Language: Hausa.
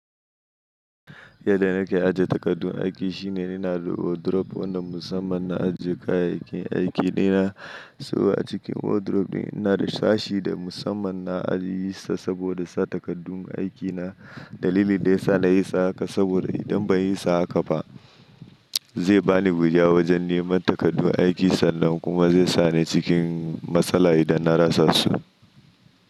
Yadda na ke aje takardun aiki shine ina da wardrobe wanda musamman na ajiye kayayyakin aiki dina. So a cikin wardrobe ɗin ina da sashi da musamman na ajiye su saboda sa takardun aikina. Dalili dayasa na yi sa haka saboda idan ban yi sa haka ba zai bani wuya wajen neman takardu aikinsa sannan kuma zai sa ni cikin matsala idan na rasa su.